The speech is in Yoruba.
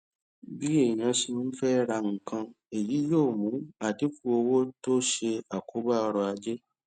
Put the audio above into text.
bí ènìyàn ṣe ń fẹ ra nǹkan èyí yóò mú àdínkù ọwó tó ṣe àkóbá ọrọajé